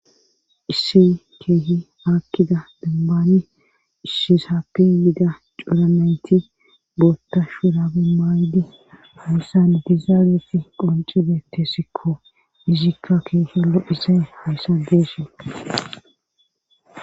Isse keehi akkida dembani issisappe yiida cuuranayti bootta shurabe maaydi hayssan dizaageti qoncibe tessikko izikka keeshilo isay hayssadesi.